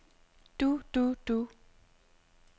du du du